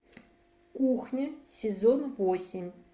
кухня сезон восемь